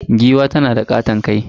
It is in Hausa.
Giwa tanada katon kai.